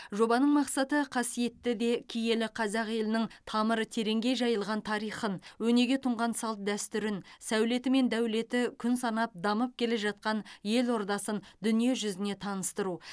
жобаның мақсаты қасиетті де киелі қазақ елінің тамыры тереңге жайылған тарихын өнеге тұнған салт дәстүрін сәулеті мен дәулеті күн санап дамып келе жатқан елордасын дүниежүзіне таныстыру